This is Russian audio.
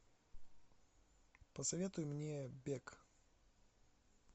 посоветуй мне бег